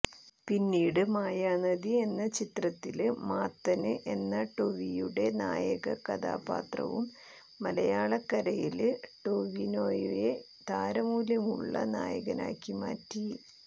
പിന്നീട് മായാനദി എന്ന ചിത്രത്തിലെ മാത്തന് എന്ന ടൊവിയുടെ നായക കഥാപാത്രവും മലയാളക്കരയില് ടൊവിനോയെ താരമൂല്യമുള്ള നായകനാക്കി മാറ്റി